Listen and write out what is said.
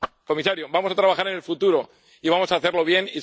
Comisario, vamos a trabajar en el futuro, y vamos a hacerlo